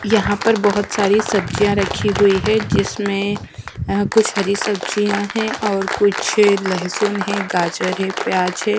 यहां पर बहुत सारी सब्जियां रखी हुई है जिसमें अ अ कुछ हरी सब्जियां हैं और कुछ लहसुन है गाजर है प्याज है।